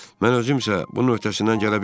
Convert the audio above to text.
Mən özümsə bunun öhtəsindən gələ bilmirəm.